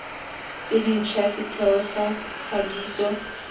tse dintšhwa setheo sa thadiso